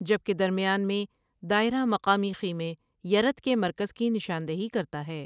جبکہ درمیان میں دائیرہ مقامی خیمے، یرت کے مرکز کی نشاندہی کرتا ہے۔